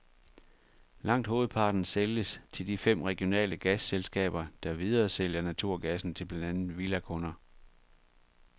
Langt hovedparten sælges til de fem regionale gasselskaber, der videresælger naturgassen til blandt andet villakunder.